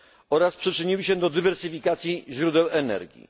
oraz przyczyniły się do dywersyfikacji źródeł energii.